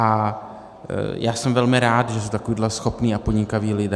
A já jsem velmi rád, že jsou takoví schopní a podnikaví lidé.